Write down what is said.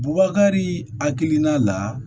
Bubakari hakilina la